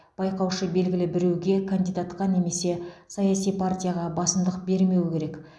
байқаушы белгілі біреуге кандидатқа немесе саяси партияға басымдық бермеуі керек